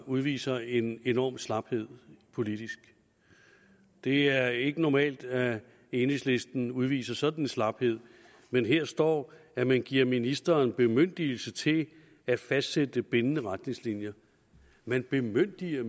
udviser en enorm slaphed politisk det er ikke normalt at enhedslisten udviser sådan en slaphed men her står at man giver ministeren bemyndigelse til at fastsætte bindende retningslinjer man bemyndiger